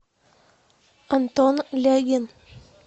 антон лягин